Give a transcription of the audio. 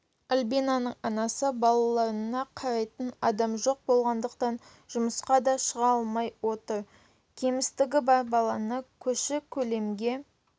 альбинаның анасы балаларына қарайтын адам жоқ болғандықтан жұмысқа да шыға алмай отыр кемістігі бар баланы көрші-көлемге